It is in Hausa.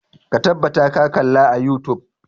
Ka tabbata ka kalla a youtube!